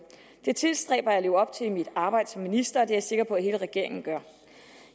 det tilstræber jeg at leve op til i mit arbejde som minister og det er jeg sikker på at hele regeringen gør